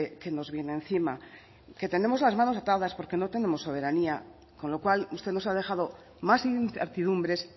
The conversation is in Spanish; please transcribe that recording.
que nos viene encima que tenemos las manos atadas porque no tenemos soberanía con lo cual usted nos ha dejado más incertidumbres